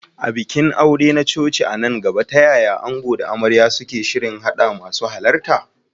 A bikin aure na coci a nan gaba, ta yaya ango da amarya suke shirin haɗa masu halarta?